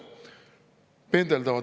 Pendeldavad.